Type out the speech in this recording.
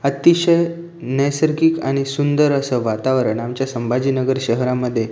अतिशय नैसर्गिक आणि सुंदर अस वातावरण आमच्या संभाजीनगर शहरामध्ये--